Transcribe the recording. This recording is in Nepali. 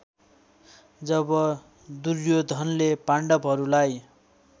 जब दुर्योधनले पाण्डवहरूलाई